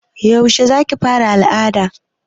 Yaushe za ki fara al'ada